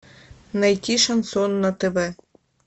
найти шансон на тв